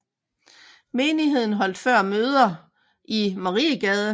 Menigheden holdt før møder i Mariegade